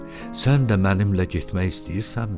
Sən də mənimlə getmək istəyirsənmi?